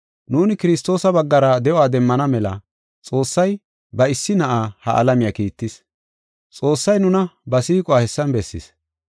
Nuuni Kiristoosa baggara de7uwa demmana mela Xoossay ba issi Na7aa ha alamiya kiittis. Xoossay nuna ba siiquwa hessan bessis.